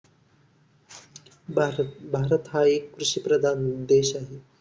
भारत भारत हा एक कृषिप्रधान देश आहे.